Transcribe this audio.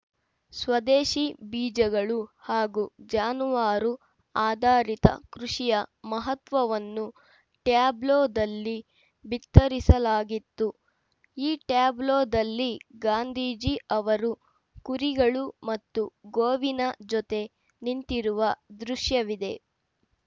ಸ್ವದೇಶಿ ಬೀಜಗಳು ಹಾಗೂ ಜಾನುವಾರು ಆಧಾರಿತ ಕೃಷಿಯ ಮಹತ್ವವನ್ನು ಟ್ಯಾಬ್ಲೊದಲ್ಲಿ ಬಿತ್ತರಿಸಲಾಗಿತ್ತು ಈ ಟ್ಯಾಬ್ಲೋದಲ್ಲಿ ಗಾಂಧೀಜಿ ಅವರು ಕುರಿಗಳು ಮತ್ತು ಗೋವಿನ ಜೊತೆ ನಿಂತಿರುವ ದೃಶ್ಯವಿದೆ